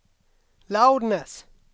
loudness